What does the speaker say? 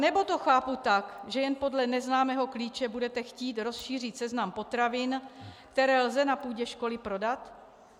Nebo to chápu tak, že jen podle neznámého klíče budete chtít rozšířit seznam potravin, které lze na půdě školy prodat?